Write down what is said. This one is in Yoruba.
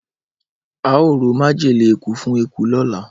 Ao ra majele eku fun eku lola.